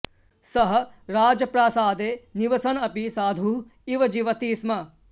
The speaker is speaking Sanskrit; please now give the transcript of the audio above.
सः राजप्रासादे निवसन् अपि साधुः इव जीवति स्म